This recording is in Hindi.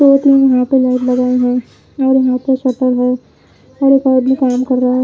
दो तीन यहां पे लाइट लगाए हैं और यहां पे शटर है और एक और भी काम कर रहा है।